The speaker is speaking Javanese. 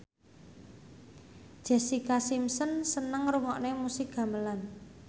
Jessica Simpson seneng ngrungokne musik gamelan